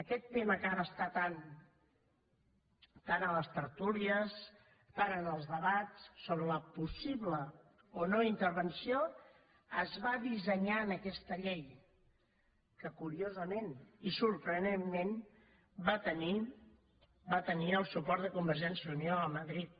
aquest tema que ara està tant a les tertúlies tant en els debats sobre la possible o no intervenció es va dissenyar en aquesta llei que curiosament i sorprenentment va tenir el suport de convergència i unió a madrid